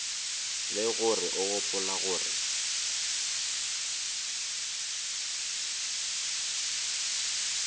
le gore o gopola gore